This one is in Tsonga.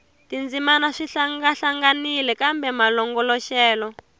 tindzimana swi hlangahlanganile kambe malongoloxelo